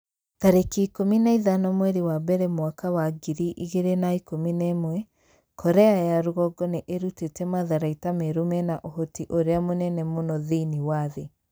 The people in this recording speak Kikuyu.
tarĩki ikũmi na ithano mweri wa mbere mwaka wa ngiri igĩrĩ na ikũmi na ĩmwe Korea ya rũgongo nĩ ĩrutĩte matharaita merũ mena ũhoti ũrĩa mũnene mũno thĩinĩ wa thĩ.'